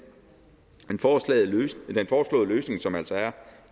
den foreslåede løsning som altså er